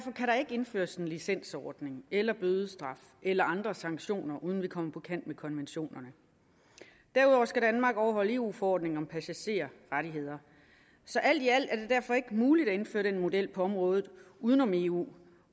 ikke indføres en licensordning eller bødestraf eller andre sanktioner uden vi kommer på kant med konventionerne derudover skal danmark overholde eu forordningen om passagerrettigheder så alt i alt er det derfor ikke muligt at indføre den model på området uden om eu